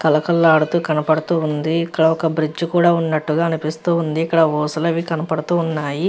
కలకలలాడుతూ కనపడుతుంది ఇక్కడ ఒక బ్రిడ్జ్ కూడా ఉన్నట్టుగా కనిపిస్తూ ఉంది ఇక్కడ ఊసలు అవి కనపడుతూ ఉన్నాయి.